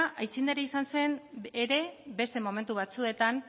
aitzindaria izan zen ere beste momentu batzuetan